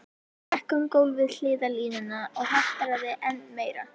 Gekk um gólf við hliðarlínuna og haltraði enn meira.